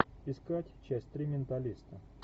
искать часть три менталиста